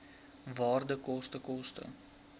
waarde koste koste